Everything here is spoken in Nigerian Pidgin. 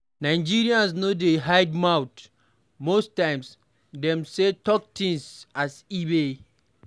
Nigerians no dey hide mouth most times dem sey talk things as e be